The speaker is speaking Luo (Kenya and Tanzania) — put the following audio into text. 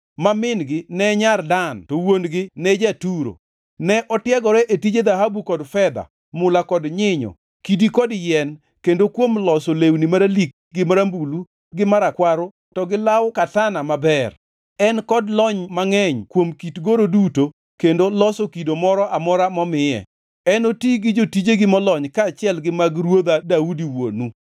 ma min-gi ne nyar Dan to wuon-gi ne ja-Turo. Ne otiegore e tije dhahabu, kod fedha, mula kod nyinyo, kidi kod yien, kendo kuom loso lewni maralik gi marambulu gi marakwaro to gi law katana maber. En kod lony mangʼeny kuom kit goro duto kendo loso kido moro amora momiye. Enoti gi jotijegi molony kaachiel gi mag ruodha Daudi wuonu.